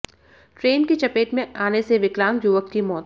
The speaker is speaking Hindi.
ट्रेन की चपेट में आने से विकलांग युवक की मौत